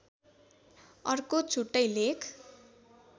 अर्को छुट्टै लेख